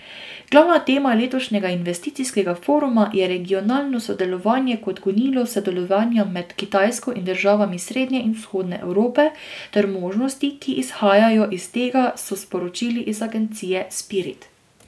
Glavna tema letošnjega investicijskega foruma je regionalno sodelovanje kot gonilo sodelovanja med Kitajsko in državami srednje in vzhodne Evrope ter možnosti, ki izhajajo iz tega, so sporočili iz agencije Spirit.